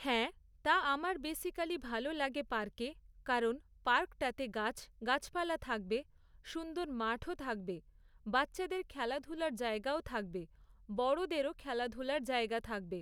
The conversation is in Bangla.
হ্যাঁ, তা আমার বেসিকালি ভালো লাগে পার্কে, কারণ পার্কটাতে গাছ গাছপালা থাকবে, সুন্দর মাঠও থাকবে, বাচ্চাদের খেলাধুলার জায়গাও থাকবে, বড়োদেরও খেলাধুলার জায়গা থাকবে।